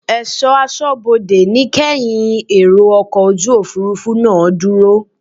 Ẹ̀ṣọ́ aṣọ́bodè ní kẹ́ yin èrò ọkọ̀ Òfurufú náà dúró!